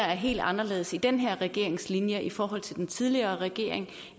er helt anderledes i den her regerings linje i forhold til den tidligere regering